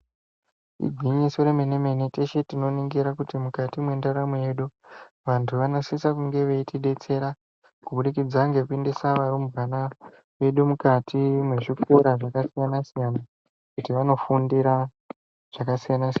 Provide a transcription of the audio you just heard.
Igwinyiso remenemene teshe tinoningira kuti mukati mwendaramo yedu vantu vanosisa kunge veitidetsera kubudikidza ngekuendesa varumbwana vedu mukati mwezvikora zvakasiyanasiyana kuti vanofundira zvakasiyanasiyana.